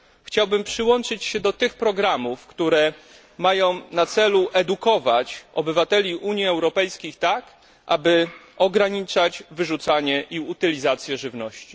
Chciałbym przyłączyć się do tych programów, które mają na celu edukowanie obywateli Unii Europejskiej tak, aby ograniczać wyrzucanie i utylizację żywności.